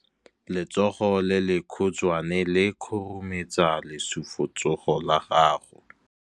Letsogo le lekhutshwane le khurumetsa lesufutsogo la gago.